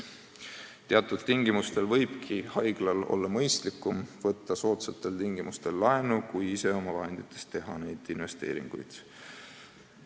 Teatud tingimustel võib haiglal olla mõistlikum võtta soodsatel tingimustel laenu, kui omavahenditest investeeringuid teha.